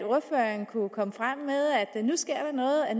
der nu sker noget at